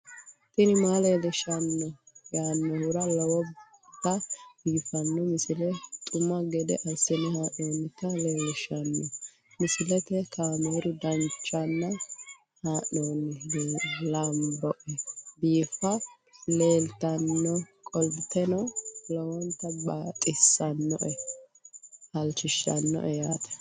tini maa leelishshanno yaannohura lowonta biiffanota misile xuma gede assine haa'noonnita leellishshanno misileeti kaameru danchunni haa'noonni lamboe biiffe leeeltannoqolten lowonta baxissannoe halchishshanno yaate